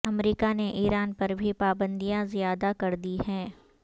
امریکہ نے ایران پر بھی پابندیاں زیادہ کر دی ہیں